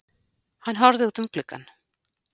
Hann horfði út um gluggann.